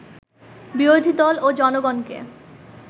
বিরোধী দল ও জনগণকে